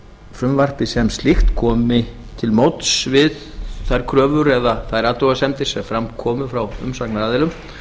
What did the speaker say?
frumvarpið sem slíkt komi til móts við þær kröfur eða þær athugasemdir sem fram komu frá umsagnaraðilum